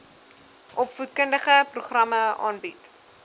opvoedkundige programme aanbied